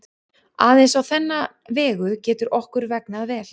Aðeins á þennan vegu getur okkur vegnað vel.